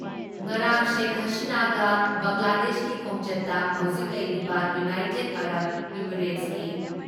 ꯉꯔꯥꯥꯡ ꯁꯦꯈ ꯍꯁꯤꯅꯥꯒ ꯕꯪꯒ꯭ꯂꯥꯗꯦꯁꯀꯤ ꯈꯣꯡꯆꯠꯇ ꯍꯧꯖꯤꯛ ꯂꯩꯔꯤꯕ ꯌꯨꯅꯥꯏꯇꯦꯠ ꯑꯔꯕ ꯏꯃꯤꯔꯦꯠꯁꯀꯤ